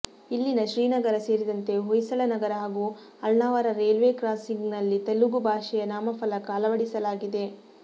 ಇಲ್ಲಿನ ಶ್ರೀನಗರ ಸೇರಿದಂತೆ ಹೊಯ್ಸಳನಗರ ಹಾಗೂ ಅಳ್ನಾವರ ರೇಲ್ವೆ ಕ್ರಾಸಿಂಗ್ನಲ್ಲಿ ತೆಲಗು ಭಾಷೆಯ ನಾಮಫಲಕ ಅಳವಡಿಸಲಾಗಿದೆ